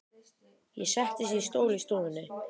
Ég settist í stól í stofunni.